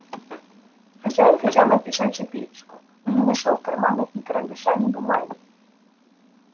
хозяин хотел написать записку но не нашёл в карманах ни карандаша ни бумаги